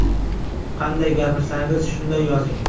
Qanday gapirsangiz, shunday yozing .